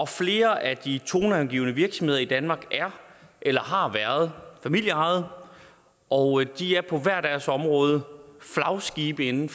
flere af de toneangivende virksomheder i danmark er eller har været familieejet og de er på hver deres område flagskibe inden